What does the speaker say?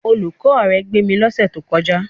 Olùkọ́ rẹ pè mí lọ́sẹ̀ tó kọjá.